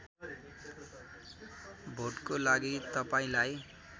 भोटको लागि तपाईँलाई